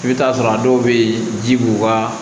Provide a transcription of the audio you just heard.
I bɛ t'a sɔrɔ a dɔw bɛ yen ji b'u ka